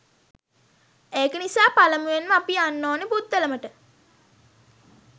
ඒක නිසා පළමුවෙන්ම අපි යන්න ඕනේ පුත්තලමට.